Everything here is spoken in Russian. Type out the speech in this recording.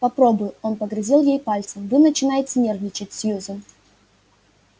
попробую он погрозил ей пальцем вы начинаете нервничать сьюзен